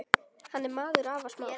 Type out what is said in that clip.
Hann er maður afar smár.